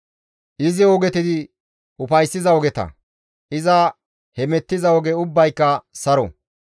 Izi ogeti ufayssiza ogeta; iza hemettiza oge ubbayka saro.